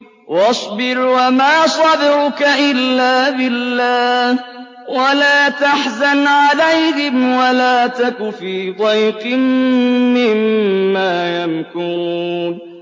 وَاصْبِرْ وَمَا صَبْرُكَ إِلَّا بِاللَّهِ ۚ وَلَا تَحْزَنْ عَلَيْهِمْ وَلَا تَكُ فِي ضَيْقٍ مِّمَّا يَمْكُرُونَ